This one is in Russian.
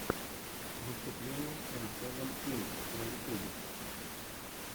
выступление эм сэвен инд на ютьюбе